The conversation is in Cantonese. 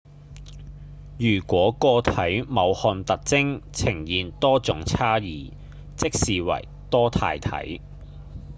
如果個體某項特徵呈現多種差異即稱為多態性